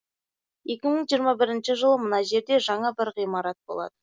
екі мың жиырма бірінші жылы мына жерде жаңа бір ғимарат болады